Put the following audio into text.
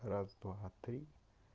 раз-два-три